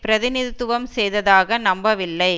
பிரதிநிதித்துவம் செய்ததாக நம்பவில்லை